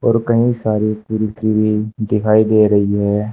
और कहीं सारी कुर्सी भी दिखाई दे रही है।